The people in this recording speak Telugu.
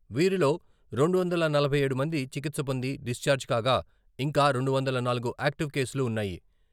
వీరిలో రెండు వందల నలభై ఏడు మంది చికిత్స పొంది డిశ్చార్జి కాగా ఇంకా రెండు వందల నాలుగు ఆక్టివ్ కేసులు ఉన్నాయి.